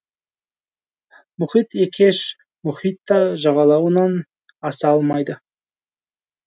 мұхит екеш мұхит та жағалауынан аса алмайды